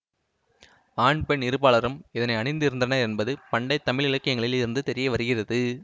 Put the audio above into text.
ஆண் பெண் இரு பாலாரும் இதனை அணிந்திருந்தனர் என்பது பண்டைத்தமிழ் இலக்கியங்களில் இருந்து தெரியவருகிறது